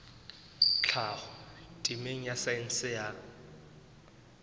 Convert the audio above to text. tlhaho temeng ya saense ya